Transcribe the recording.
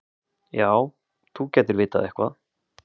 Já, þú gætir vitað eitthvað.